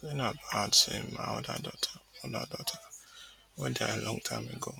zainab add say my oda daughter oda daughter wey die long time ago